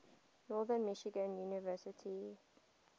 northern michigan university